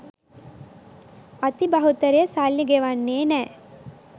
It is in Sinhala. අති බහුතරය සල්ලි ගෙවන්නෙ නෑ.